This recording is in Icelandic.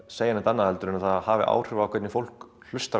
segja neitt annað en að það hafi áhrif á hvernig fólk hlustar